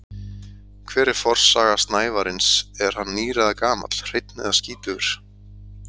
Hver er forsaga snævarins, er hann nýr eða gamall, hreinn eða skítugur?